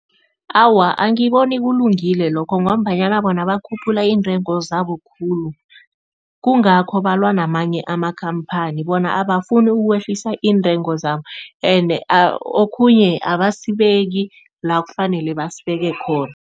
Awa, angiboni kulungile lokho ngombanyana bona bakhuphula iintengo zabo khulu. Kungakho balwa namanye amakhamphani bona abafuni ukwehlisa iintengo zabo ene okhunye abasibeki la kufanele basibeke khona.